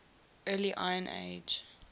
early iron age